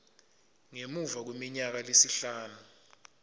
ngemuva kweminyaka lesihlanu